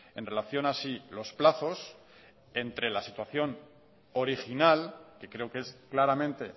en relación a si los plazos entre la situación original que creo que es claramente